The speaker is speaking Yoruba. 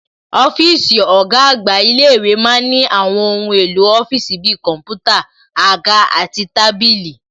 Ọ́físì ọ̀gá àgbà ilé-ìwé ma ń ní àwọn ohun èlò ọ́fíìsì bi kọ̀ḿpútà, àga àti tábìlì